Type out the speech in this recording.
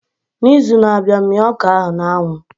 N'izu na-abịa mia ọka ahu na anwu